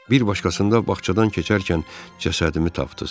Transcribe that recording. Bir başqasında bağçadan keçərkən cəsədimi tapdız.